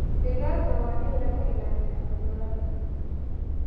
Digaagga waa in laga ilaaliyo cudurrada.